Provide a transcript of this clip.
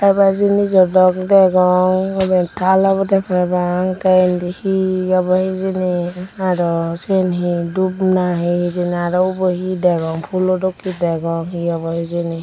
hebar jinjo dok degong iben taal obodey parapang tey indi he obo hijeni aro siyen he dup nahi hijeni aro ubo he degong fhulo dokkey degong he obo hijeni.